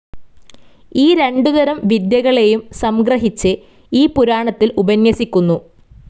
ഈ രണ്ടുതരം വിദ്യകളേയും സംഗ്രഹിച്ച് ഈ പുരാണത്തിൽ ഉപന്യസിക്കുന്നു.